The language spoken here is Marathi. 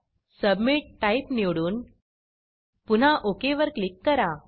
submitसबमिट टाइप टाईप निवडून पुन्हा ओक वर क्लिक करा